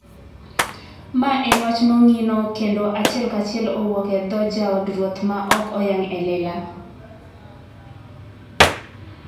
Mae en wach mongino kendo achiel kachiel owuok e dho jaod ruoth ma ok oyang e lela.